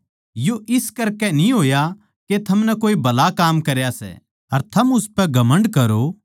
यो इस करकै न्ही होया के थमनै कोए भला काम करया सै अर थम उसपै घमण्ड करो